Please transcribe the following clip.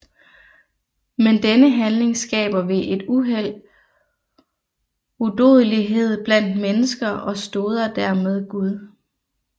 Men denne handling skaber ved et uheld udodelighed blandt mennesker og stoder dermed Gud